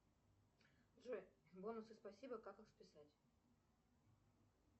джой бонусы спасибо как их списать